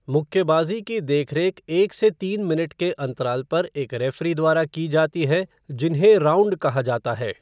मुक्केबाज़ी की देखरेख एक से तीन मिनट के अंतराल पर एक रेफ़री द्वारा की जाती है जिन्हें राउँड कहा जाता है।